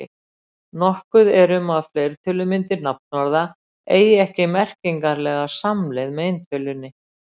Nokkuð er um að fleirtölumyndir nafnorða eigi ekki merkingarlega samleið með eintölunni.